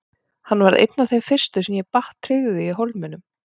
Hann varð einn af þeim fyrstu sem ég batt tryggð við í Hólminum.